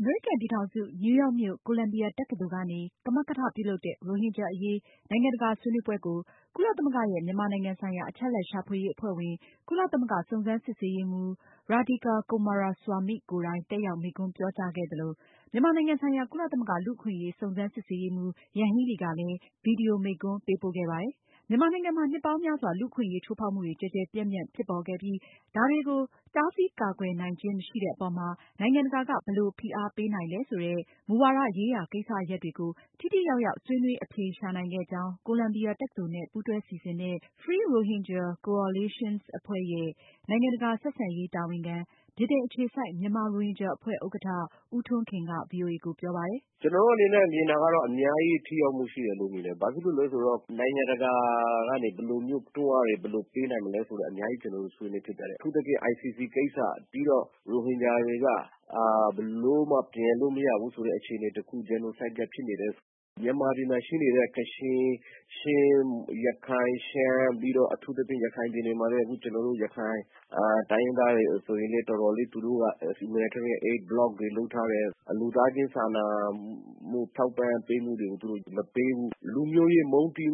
အမေရိကန်ပြည်ထောင်စု နယူးရောက်မြို့ ကိုလံဘီယာတက္ကသိုလ်ကနေ ကမကထ ပြုလုပ်တဲ့ ရိုဟင်ဂျာအရေး နိုင်ငံတကာဆွေးနွေးပွဲကို ကုလသမဂ္ဂရဲ့ မြန်မာနိုင်ငံဆိုင်ရာ အချက်အလက်ရှာဖွေရေး အဖွဲ့ဝင် ကုလသမဂ္ဂစုံစမ်းစစ်ဆေးရေးမှူး Radhika Coomaraswamy ကိုယ်တိုင် တက်ရောက်မိန့်ခွန်း ပြောကြားခဲ့သလို၊ မြန်မာနိုင်ငံဆိုင်ရာ ကုလသမဂ္ဂလူ့အခွင့်အရေး စုံစမ်းစစ်ဆေးရေးမှူး ယန်ဟီလီကလည်း ဗွီဒီယိုမိန့်ခွန်းပေးပို့ခဲ့ပါတယ်။ မြန်မာနိုင်ငံမှာ နှစ်ပေါင်းများစွာ လူ့အခွင့်အရေးချိုးဖောက်မှုတွေ ကျယ်ကျယ်ပြန့်ပြန့် ဖြစ်ပေါ်ခဲ့ပြီး ဒါတွေကို တားဆီးကာကွယ်နိုင်ခြင်းမရှိတဲ့အပေါ်မှာ နိုင်ငံတကာက ဘယ်လိုဖိအားပေးနိုင်လဲဆိုတဲ့ မူဝါဒရေးရာကိစ္စရပ်တွေကို ထိထိရောက်ရောက်ဆွေးနွေး အဖြေရှာနိုင်ခဲ့ကြောင်း ကိုလံဘီယာတက္ကသိုလ်နဲ့ ပူးတွဲ စီစဉ်တဲ့ Free Rohingya Coalition အဖွဲ့ရဲ့ နိုင်ငံတကာဆက်ဆံရေးတာဝန်ခံ၊ ဗြိတိန်အခြေစိုက် မြန်မာရိုဟင်ဂျာ အဖွဲ့ ဥက္ကဌ ဦးထွန်းခင်က ဗွီအိုအေကို ပြောပါတယ်။ "ကျနော်တို့အနေနဲ့ မြင်တာကတော့ အများကြီးထိရောက်မှုရှိတယ်လို့ ထင်တယ်။ ဘာဖြစလို့လဲဆိုတော့ နိုင်ငံတကာကနေ ဘယ်လိုမျိုးပေးနိုင်မလဲဆိုတာ ကျနော်တို့ အများကြီးဆွေးနွေးဖြစ်ခဲ့ပါတယ်။ အထူးသဖြင့် ICC ကိစ္စ ပြီးတော့ ရိုဟင်ဂျာတွေက ဘယ်လိုမှ ပြန်လို့မရဘူးဆိုတဲ့အခြေအနေတခု ဖြစ်နေတယ်ဆိုတာ။ မြန်မာပြည်မှာ ရှိနေတဲ့ ကချင်၊ ချင်း၊ ရခိုင် ရှမ်း၊ ပြီးတော့ ရခိုင်ပြည်နယ်မှာလည်း အခု ရခိုင်တိုင်းရင်းသားတွေ တော်တော်လေး သူတို့က Aid block တွေလုပ်ထားတယ် လူသားချင်းစာနာမှုထောက်ပံ့ပေးမှုတွေကို မပေးဘူး လူမျိုးရေး မုန်းတီး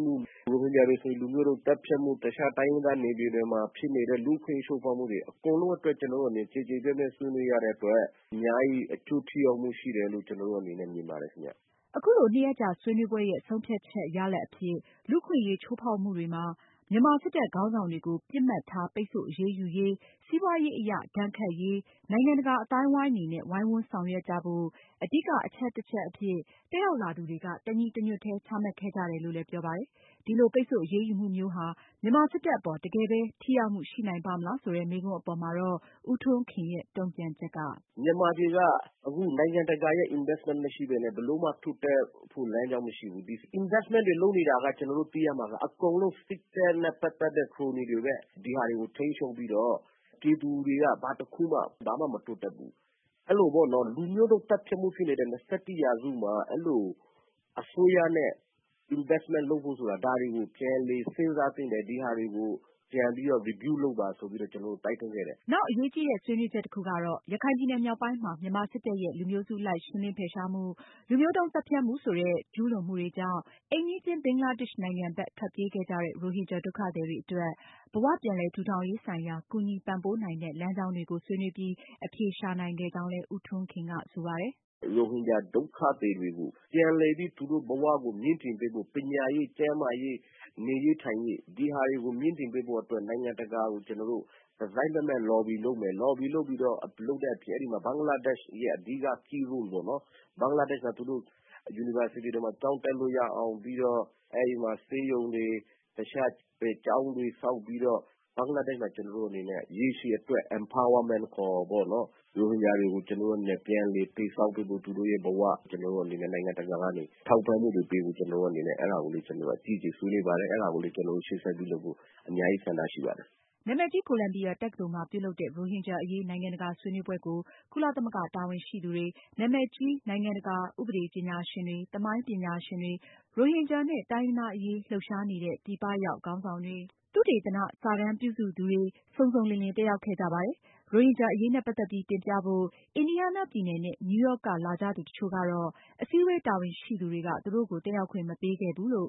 မှုတွေ၊ ရိုဟင်ဂျာတွေကိုဆိုရင် လူမျိုးတုန်းသတ်ဖြတ်မှု ၊တခြားတိုင်းရင်းသားနယ်မြေတွေမှာဖြစ်နေတဲ့ လူ့အခွင့်အရေးချိုးဖောက်မှုတွေအကုန်လုံးအတွက် ကျနော်တို့တွေ ကျယ်ကျယ်ပြန့်ပြန့်ဆွေးနွေးရတဲ့အတွက် အများကြီး အကျိုးထိရောက်မှုရှိတယ်လို့ ကျနော်အနေနဲ့ မြင်ပါတယ်ခင်ဗျ။" အခုလို နှစ်ရက်ကြာဆွေးနွေးပွဲရဲ့ ဆုံးဖြတ်ချက်ရလာဒ်အဖြစ် လူ့အခွင့်အရေးချိုးဖောက်မှုတွေမှာ မြန်မာ စစ်တပ်ခေါင်းဆောင်တွေကို ပစ်မှတ်ထား ပိတ်ဆို့အရေးယူရေး၊ စီးပွားရေးအရ ဒဏ်ခတ်ရေး နိုင်ငံတကာအသိုင်းအဝိုင်းအနေနဲ့ ဝိုင်းဝန်းဆောင်ရွက်ကြဖို့ အဓိကအချက်တချက်အဖြစ် တက်ရောက်လာသူတွေက တညီတညွတ်တည်း ချမှတ်ခဲ့ကြတယ်လို့လည်း ပြောပါတယ်။ ဒီလို ပိတ်ဆို့အရေးယူမှုမျိုးဟာ မြန်မာစစ်တပ်အပေါ် တကယ်ပဲ ထိရောက်မှုရှိနိုင်ပါ့မလားဆိုတဲ့ မေးခွန်းအပေါ် ဦးထွန်ခင်ရဲ့ တုန့်ပြန်ချက်ကတော့- "မြန်မာပြည်က အခုနိုင်ငံတကာရဲ့ Investment မရှိပဲနဲ့ ဘယ်လိုမှ ထိုးဖောက်လို့ မရဘူး။ Investment တွေလုပ်နေတာကို ကျနော်တို့ သိရမှာက အကုန်လုံး စစ်တပ်နဲ့ ပတ်သက်တဲ့ ခရိုနီတွေပဲ ဒီဟာကို ထိန်းချုပ်ပြီးတော့ ပြည်သူတွေက ဘာတခုမှ မတိုးတက်ဘူး။ အဲလိုမျိုး လူမျိုးတုန်းသတ်ဖြတ်မှု ဖြစ်နေတဲ့ ၂၁ ရာစုမှာ အဲလို အစိုးရနဲ့ investment လုပ်ဖို့ ဆိုတာ ဒါတွေကို ပြန်လည်စဉ်းစားသင့်တယ် ဒါတွေကို ပြန်ပြီးတော့ review လုပ်ပါဆိုပြီးတော့ သူတို့ကို တိုက်တွန်းခဲ့တယ်။" နောက်အရေးကြီးတဲ့ ဆွေးနွေးချက်တခုကတော့ ရခိုင်ပြည်နယ်မြောက်ပိုင်းမှာ မြန်မာစစ်တပ်ရဲ့ လူမျိုးစုအလိုက်ရှင်းလင်းဖယ်ရှားမှု၊ လူမျိုးတုန်းသတ်ဖြတ်မှုဆိုတဲ့ ကျူးလွန်မှုတွေကြောင့် အိမ်နီးချင်း ဘင်္ဂလားဒေ့ရှ်နိုင်ငံဘက်ထွက်ပြေးခဲ့ကြတဲ့ ရိုဟင်ဂျာဒုက္ခသည်တွေအတွက် ဘဝပြန်လည်ထူထောင်ရေး ဆိုင်ရာ ကူညီပံ့ပိုးနိုင်တဲ့ လမ်းကြောင်းတွေကို ဆွေးနွေးပြီး အဖြေရှာခဲ့ကြောင်းလည်း ဦးထွန်းခင်က ဆိုပါတယ်။ "ရိုဟင်ဂျာ ဒုက္ခသည်တွေကို ပြန်လည်ဲပြီး သူတို့ သူတို့ဘဝတွေကို မြင့်တင်ပေးဖို့ ပညာရေး၊ ကျန်းမာရေး၊ နေရေးထိုင်ရေး အဓိက ဒါတွေကို မြှင့်တင်ပေးဖို့အတွက် နိုင်ငံတကာကို ကျနော်တို့ တစိုက်မတ်မတ် လော်ဘီ လုပ်မယ်၊ လုပ်ပြီးတော့ အဓိက ဘင်္ဂလားဒေ့ရှ်ရဲ့ Key Role ပေ့ါနော်။ ဘင်္ဂလားဒေ့ရှ်မှာ သူတို့ University တွေမှာ ကျောင်းတက်လို့ရအောင် ပြီးတော့ အဲဒီမှာ ဆေးရုံတွေ တခြားကျောင်းတွေဆောက်ပြီးတော့ ဘင်္ဂလားဒေ့ရှ်မှာ ကျနော်တို့အနေနဲ့ ရေရှည်အတွက် Empowerment ပေ့ါနော် ရိုဟင်ဂျာတွေအတွက် ကျနော်တို့အနေနဲ့ ပြန်လည်တည်ဆောက်ပေးဖို့ သူတို့ဘ၀ နိုင်ငံတကာကနေ ထောက်ပံ့မှုတွေပေးဖို့ ကျနော်တို့အနေနဲ့ အဲဒါကို အကြီးအကျယ်ဆွေးနွေးပါတယ်။ အဲဒါကိုလည်း အကြီးအကျယလုပ်ဖို့ အများကြီး ဆန္ဒရှိပါတယ်။" နာမည်ကြီး ကိုလံဘီယာတက္ကသိုလ်မှာ ပြုလုပ်တဲ့ ရိုဟင်ဂျာအရေး နိုင်ငံတကာဆွေးနွေးပွဲကို ကုလသမဂ္ဂတာဝန်ရှိသူတွေ၊ နာမည်ကြီး နိုင်ငံတကာ ဥပဒေပညာရှင်တွေ၊ သမိုင်းပညာရှင်တွေ၊ ရိုဟင်ဂျာနဲ့ တိုင်းရင်းသားအရေးလှုပ်ရှားနေတဲ့ ခေါင်းဆောင်တွေ၊ သုတေသန စာတမ်းပြုစုသူ၊ ဧည့်သည်တော် စုစုပေါင်း ၂၅၀ နီးပါး တက်ရောက်ခဲ့ကြပါတယ်။ ရိုဟင်ဂျာအရေးနဲ့ပတ်သက်ပြီးတင်ပြဖို့ အင်ဒီးယားနားပြည်နယ်နဲ့ နယူးရောက်က လာရောက်ကြသူ တချို့ကတော့ အစည်းအဝေးတာဝန်ရှိသူတွေက သူတို့ကို တက်ရောက်ခွင့် မပေးခဲ့ဘူးလို့